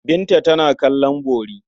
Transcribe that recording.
Binta tana kallon bori.